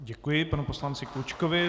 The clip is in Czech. Děkuji panu poslanci Klučkovi.